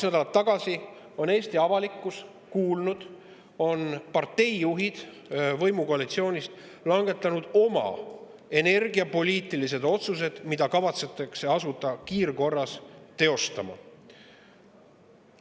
Nagu Eesti avalikkus kaks nädalat tagasi kuulis, on parteijuhid võimukoalitsioonist langetanud oma energiapoliitilised otsused, mida kavatsetakse asuda kiirkorras teostama.